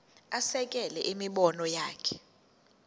asekele imibono yakhe